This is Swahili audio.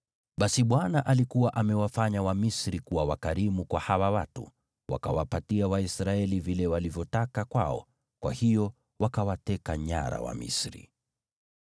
Basi Bwana alikuwa amewafanya Wamisri kuwa wakarimu kwa hawa watu, wakawapatia Waisraeli vile walivyotaka kwao; kwa hiyo wakawateka nyara Wamisri.